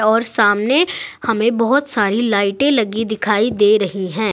और सामने हमें बहोत सारी लाइटें लगी दिखाई दे रही है।